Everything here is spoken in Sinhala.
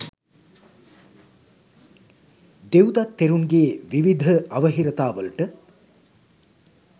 දෙව්දත් තෙරුන්ගේ විවිධ අවහිරතාවලට